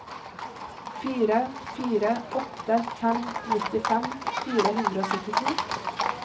fire fire åtte fem nittifem fire hundre og syttito